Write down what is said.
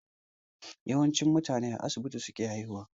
Yawanci mutane a asibiti suke haihuwa